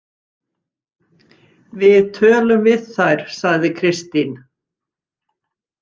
Við tölum við þær, sagði Kristín.